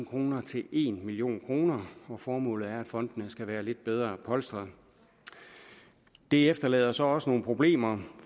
kroner til en million kroner formålet er at fondene skal være lidt bedre polstret det efterlader så også nogle problemer